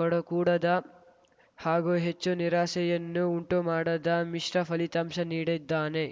ಕಡು ಕೂಡದ ಹಾಗೂ ಹೆಚ್ಚು ನಿರಾಸೆಯನ್ನೂ ಉಂಟುಮಾಡದ ಮಿಶ್ರ ಫಲಿತಾಂಶ ನೀಡಿದ್ದಾನೆ